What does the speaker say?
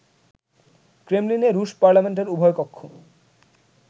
ক্রেমলিনে রুশ পার্লামেন্টের উভয় কক্ষ